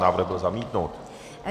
Návrh byl zamítnut.